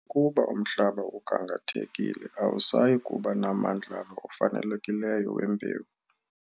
Ukuba umhlaba ugangathekile awusayi kuba namandlalo ofanelekileyo wembewu.